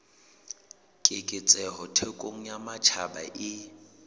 keketseho thekong ya matjhaba e